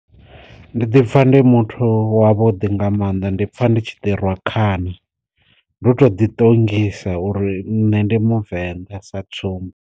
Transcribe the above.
Ndi ḓipfa ndi muthu wa vhuḓi nga maanḓa ndi pfa nditshi ḓi rwa khana, ndo to ḓi ṱongisa uri nṋe ndi muvenḓa sa tsumbo.